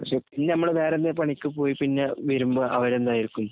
പക്ഷേ, പിന്നെ നമ്മള് വേറെ എന്തെങ്കിലും പണിക്ക് പോയി പിന്നെ വരുമ്പം അവര് എന്തായിരിക്കും.